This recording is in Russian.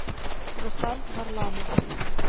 руслан варламов